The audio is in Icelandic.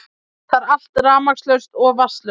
Það er allt rafmagnslaust og vatnslaust